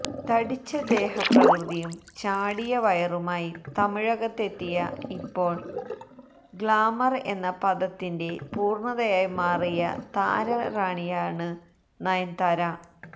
തടിച്ച ദേഹപ്രകൃതിയും ചാടിയ വയറുമായി തമിഴകത്തെത്തിയ ഇപ്പോള് ഗ്ലാമര് എന്ന പദത്തിന്റെ പൂര്ണതയായി മാറിയ താരറാണിയാണ് നയന്താര